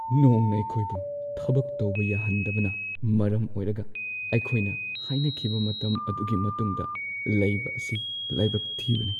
ꯅꯣꯡꯅ ꯑꯩꯈꯣꯏꯕꯨ ꯊꯕꯛ ꯇꯧꯕ ꯌꯥꯍꯟꯗꯕꯅ ꯃꯔꯝ ꯑꯣꯏꯔꯒ ꯑꯩꯈꯣꯏꯅ ꯍꯥꯏꯅꯈꯤꯕ ꯃꯇꯝ ꯑꯗꯨꯒꯤ ꯃꯇꯨꯡꯗ ꯂꯩꯕ ꯑꯁꯤ ꯂꯥꯏꯕꯛ ꯊꯤꯕꯅꯤ ꯫